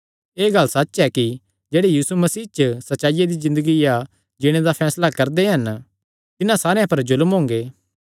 एह़ गल्ल सच्च ऐ कि जेह्ड़े यीशु मसीह च सच्चाईया दी ज़िन्दगिया जीणे दा फैसला करदे हन तिन्हां सारेयां पर जुल्म हुंगे